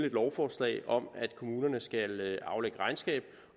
et lovforslag om at kommunerne skal aflægge regnskab